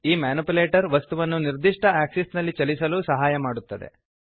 ಈ ಮ್ಯಾನಿಪ್ಯುಲೇಟರ್ ವಸ್ತುವನ್ನು ನಿರ್ದಿಷ್ಟ ಆಕ್ಸಿಸ್ನಲ್ಲಿ ಚಲಿಸಲು ಸಹಾಯ ಮಾಡುತ್ತದೆ